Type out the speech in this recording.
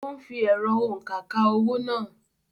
Òún fí ẹ̀rọ-òunkà ka owó náà